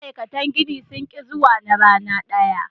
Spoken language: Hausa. Ma'aikatan gini sun hits na rana daya.